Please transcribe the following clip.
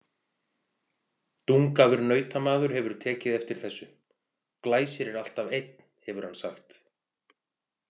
Dungaður nautamaður hefur tekið eftir þessu: Glæsir er alltaf einn, hefur hann sagt.